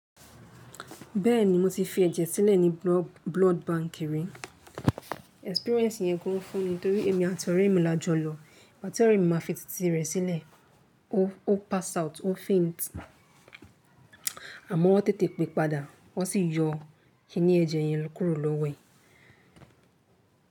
Bẹ́ẹ̀ni mo ti fi ẹ̀jẹ̀ sílẹ̀ ní blood bank rí. Experience yẹn gan fún mi torí èmi àti ọ̀rẹ́ mi la jọ lọ. Ọ̀rẹ́ mi máa fi titi rẹ̀ sílẹ̀, ó pass out, ó faint. Àmọ́ wọ́n tètè pé padà, wọ́n sì yọ kiní ẹ̀jẹ̀ yẹn kúrò lówó ẹ̀.